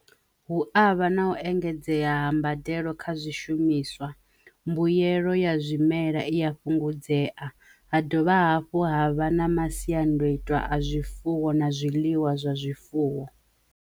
Hu a vha na u engedzea ha mbadelo kha zwishumiswa mbuyelo ya zwimela i a fhungudzea, ha dovha hafhu ha vha na masiandaitwa a zwifuwo na zwiḽiwa zwa zwifuwo.